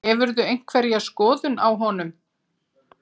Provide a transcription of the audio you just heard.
Hefurðu einhverja skoðun á honum?